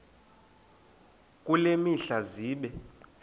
kule mihla zibe